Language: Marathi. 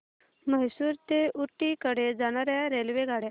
म्हैसूर ते ऊटी कडे जाणार्या रेल्वेगाड्या